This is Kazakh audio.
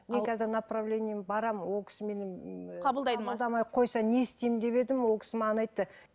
направлениемен барамын ол кісі мені қабылдамай қойса не істеймін деп едім ол кісі маған айтты